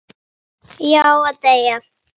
Já, og deyja